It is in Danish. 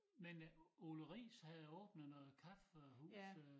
Men øh Ole Riis havde åbnet noget kaffehus øh